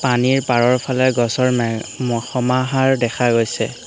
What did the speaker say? পানীৰ পাৰৰ ফালে গছৰ মা ম সমাহাৰ দেখা গৈছে।